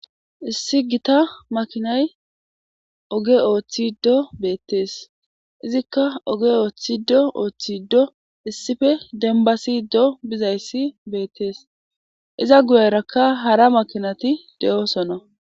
issi gita makinay oge ooththiddo beettees izikka oge ooththido ooththiddo issife denbasiddo bizayssi beettees iza guyerakka hara makinati de7oosona